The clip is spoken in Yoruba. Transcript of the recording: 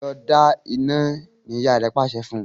Lọ dá iná! ní ìyá rẹ pàṣẹ fún.